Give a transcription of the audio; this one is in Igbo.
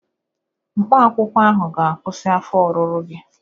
Mkpaakwụkwọ ahụ ga-akwụsị afọ ọrụrụ gị